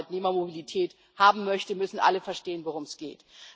Wenn man Arbeitnehmermobilität haben möchte, müssen alle verstehen, worum es geht.